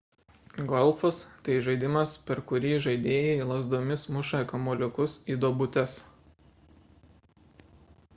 golfas – tai žaidimas per kurį žaidėjai lazdomis muša kamuoliukus į duobutes